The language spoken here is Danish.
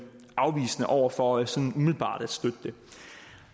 afvisende over for sådan umiddelbart at støtte det